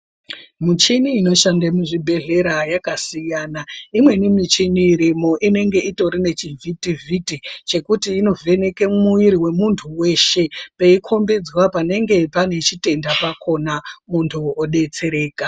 Muchini inoshande muzvibhedhlera yakasiyana imweni michini irimwo inenge itori nechivhiti-vhiti chekuti inovheneka muwiri wemuntu weshe peikombidzwa panenge pane chitenda pakona muntu odetsereka.